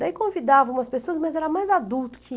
Daí convidava umas pessoas, mas era mais adulto que ia.